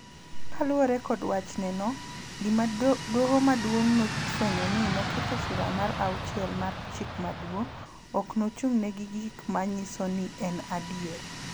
Kaluwore kod wachne no, gima Doho Maduong� nofwenyo ni ne oketho Sura mar Auchiel mar Chik Maduong�, ok ochung�ne gi gik ma nyiso ni en adier.